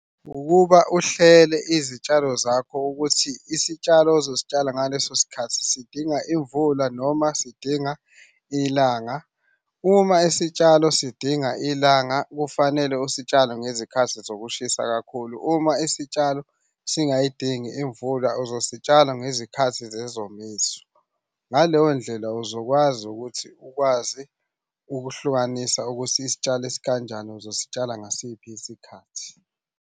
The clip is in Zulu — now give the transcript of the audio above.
Ukuba uhlele izitshalo zakho ukuthi isitshalo ozositshala ngaleso sikhathi sidinga imvula noma sidinga ilanga. Uma isitshalo sidinga ilanga kufanele usitshale ngezikhathi zokushisa kakhulu. Uma isitshalo singayidingi imvula, uzositshala ngezikhathi zesomiso. Ngaleyo ndlela uzokwazi ukuthi ukwazi ukuhlukanisa ukuthi isitshalo Esikanjani uzositshela ngasiphi isikhathi.